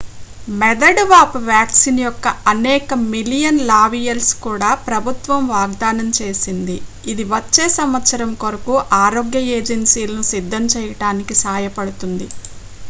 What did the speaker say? మెదడు వాపు వ్యాక్సిన్ యొక్క అనేక మిలియన్ ల వియాల్స్ను కూడా ప్రభుత్వం వాగ్ధానం చేసింది ఇది వచ్చే సంవత్సరం కొరకు ఆరోగ్య ఏజెన్సీలను సిద్ధం చేయడానికి సాయపడుతుంది